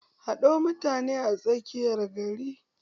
Haɗo mutane a tsakiyar gari!